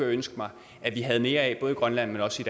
ønske mig vi havde mere af både i grønland men også